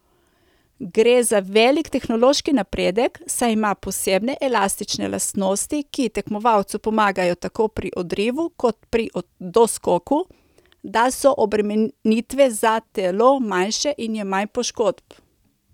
Gre za velik tehnološki napredek, saj ima posebne elastične lastnosti, ki tekmovalcu pomagajo tako pri odrivu kot pri doskoku, da so obremenitve na telo manjše in je manj poškodb.